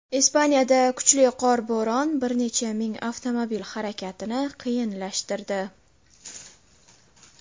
Ispaniyada kuchli qorbo‘ron bir necha ming avtomobil harakatini qiyinlashtirdi.